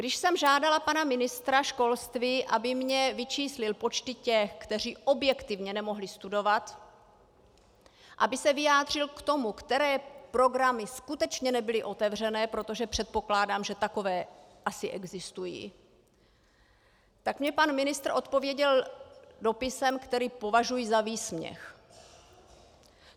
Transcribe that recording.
Když jsem žádala pana ministra školství, aby mi vyčíslil počty těch, kteří objektivně nemohli studovat, aby se vyjádřil k tomu, které programy skutečně nebyly otevřené, protože předpokládám, že takové asi existují, tak mi pan ministr odpověděl dopisem, který považuji za výsměch.